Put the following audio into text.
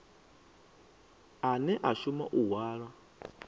ane a shuma u hwala